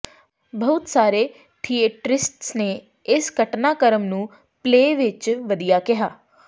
ਬਹੁਤ ਸਾਰੇ ਥੀਏਟਰਿਸਟਸ ਨੇ ਇਸ ਘਟਨਾਕ੍ਰਮ ਨੂੰ ਪਲੇਅ ਵਿੱਚ ਵਧੀਆ ਕਿਹਾ